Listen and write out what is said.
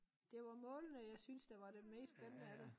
Det var målene jeg synes der var det mest spændende af det